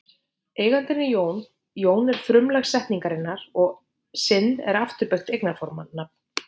Eigandinn er Jón, Jón er frumlag setningarinnar og sinn er afturbeygt eignarfornafn.